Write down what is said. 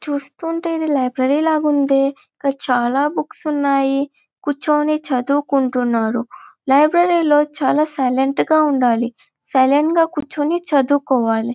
చూస్తూ ఉంటే ఇది లైబ్రరీ ల వుందే ఇక్కడ చాల బుక్స్ ఉన్నాయా కుర్చుని చదువు కుంటున్నారు లైబ్రరీ లో చాల సైలెంట్ గ ఉండాలి సైలెంట్ గ కూర్చుని చదువు కోవాలి.